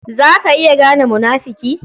Za ka iya gane munafuki?